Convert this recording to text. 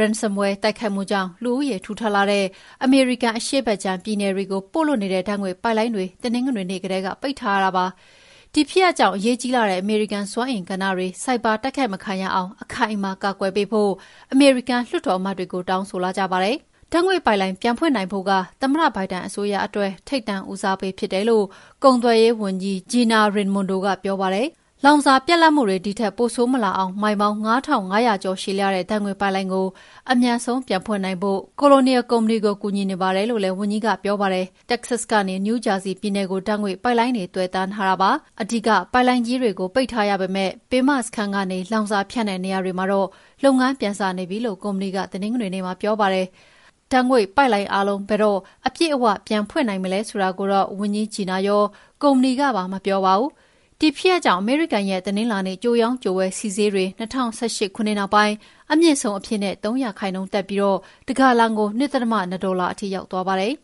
Ransomwear တိုက်ခိုက်မှုကြောင့် လူဦးရေထူထပ်လှတဲ့ အမေရိကန်အရှေ့ဘက်ခြမ်းပြည်နယ်တွေကို ပို့လွှတ်တဲ့ ဓာတ်ငွေ့ပိုက်လိုင်းတွေ တနင်္ဂနွေနေ့ကတည်းက ပိတ်ထားရတာပါ။ ဒီဖြစ်ရပ်ကြောင့် အရေးကြီးလှတဲ့ အမေရိကန်စွမ်းအင်ကဏ္ဍတွေ ဆိုင်ဘာ တိုက်ခိုက်မခံရအောင်အခိုင်အမာ ကာကွယ်ပေးဖို့ အမေရိကန်လွှတ်တော်အမတ်တွေကို တောင်းဆိုလာကြပါတယ်။ ဓာတ်ငွေ့ပိုက်လိုင်းပြန်ဖွင့်နိုင်ဖို့က သမ္မတဘိုင်ဒန်အစိုးရအတွက် ထိပ်တန်းဦးစားပေးဖြစ်တယ်လို့ ကုန်သွယ်ရေးဝန်ကြီး Gina Raimondo ကပြောပါတယ်။ လောင်စာပြတ်လပ်မှုတွေ ဒီထက်ပိုဆိုးမလာအောင် မိုင်ပေါင်း ၅,၅၀၀ ကျော်ရှည်လျားတဲ့ ဓာတ်ငွေ့ပိုက်လိုင်း အမြန်ဆုံးပြန်ဖွင့်နိုင်ဖို့ Cononial ကုမ္ပဏီကို ကူညီနေပါတယ်လို့လည်း ဝန်ကြီး Raimondo ကပြောပါတယ်။ တက္ကဆတ်ကနေ နယူးဂျာဆီပြည်နယ်ကို ဓာတ်ငွေ့ပိုက်လိုင်းတွေ သွယ်တန်းထားတာဖြစ်ပါတယ်။ အဓိက ပိုက်လိုင်းကြီးတွေကို ပိတ်ထားရပေမယ့် ပင်မစခန်းကနေ လောင်စာဖြန့်တဲ့နေရာတွေမှာတော့ လုပ်ငန်းပြန်စနေပြီလို့ ကုမ္ပဏီက မနေ့တနင်္ဂနွေနေ့မှာပြောပါတယ်။ ဓာတ်ငွေ့ပိုက်လိုင်းအားလုံး ဘယ်တော့ အပြည့်အဝပြန်ဖွင့်နိုင်မလဲဆိုတာကိုတော့ ဝန်ကြီး Raimondo ရော ကုမ္ပဏီကပါ မပြောပါဘူး။ ဒီဖြစ်ရပ်ကြောင့် အမေရိကန်ရဲ့တနင်္လာနေ့ ကြိုရောင်းကြိုဝယ် ဆီဈေးတွေ ၂၀၁၈ ခုနှစ်နောက်ပိုင်း အမြင့်ဆုံးအဖြစ် ၃ ရာခိုင်နှုန်းတက်ပြီး တဂါလံကို ၂.၂ ဒေါ်လာထိရောက်သွားပါတယ်